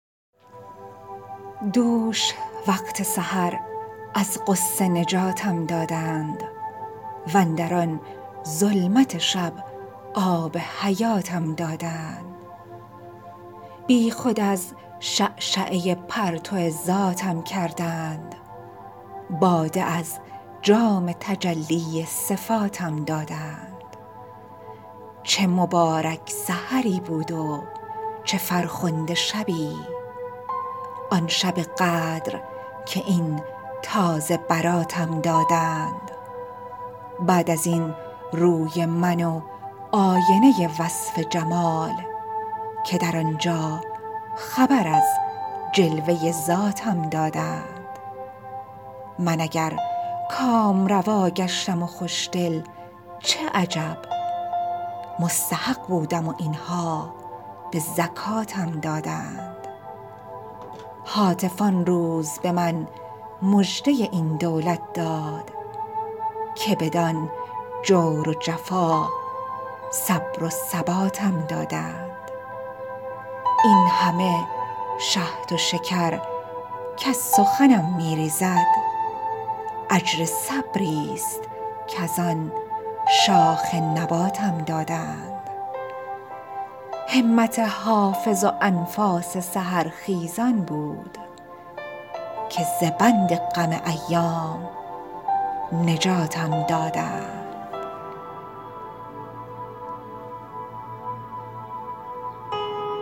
دوش وقت سحر از غصه نجاتم دادند واندر آن ظلمت شب آب حیاتم دادند بی خود از شعشعه پرتو ذاتم کردند باده از جام تجلی صفاتم دادند چه مبارک سحری بود و چه فرخنده شبی آن شب قدر که این تازه براتم دادند بعد از این روی من و آینه وصف جمال که در آن جا خبر از جلوه ذاتم دادند من اگر کامروا گشتم و خوش دل چه عجب مستحق بودم و این ها به زکاتم دادند هاتف آن روز به من مژده این دولت داد که بدان جور و جفا صبر و ثباتم دادند این همه شهد و شکر کز سخنم می ریزد اجر صبری ست کز آن شاخ نباتم دادند همت حافظ و انفاس سحرخیزان بود که ز بند غم ایام نجاتم دادند